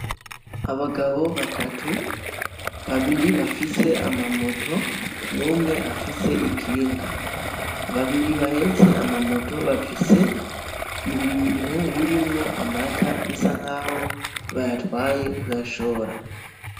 Abagabo batatu, babiri bafise amamoto, n'umwe afise ikinga. Babiri bahetse amamoto bafise ibintu birimwo amata bisa nkaho bayatwaye kuyashora.